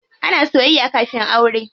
Ana soyayya kafin aure.